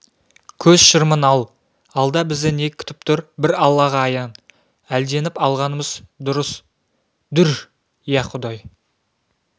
көз шырымын ал алда бізді не күтіп тұр бір аллаға аян әлденіп алғанымыз дұрыс-дүр иә құдай